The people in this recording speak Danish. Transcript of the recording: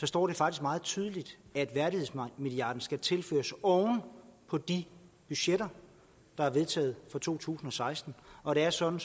står der faktisk meget tydeligt at værdighedsmilliarden skal tilføres oven på de budgetter der er vedtaget for to tusind og seksten og det er sådan